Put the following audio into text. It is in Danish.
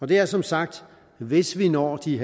det er som sagt hvis vi når de